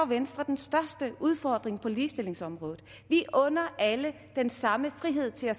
venstre den største udfordring på ligestillingsområdet vi under alle den samme frihed til at